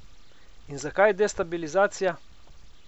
In zakaj destabilizacija?